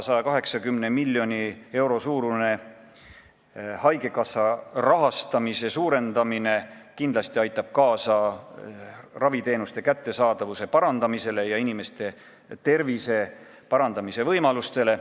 180 miljoni euro võrra haigekassa rahastamise suurendamine kindlasti aitab kaasa raviteenuste kättesaadavuse parandamisele ja inimeste tervise parandamise võimalustele.